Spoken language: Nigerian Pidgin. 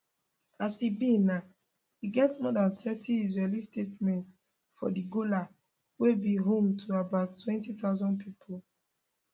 as e be now e get more dan thirty israeli settlements for di golan wey be home to about 20000 pipo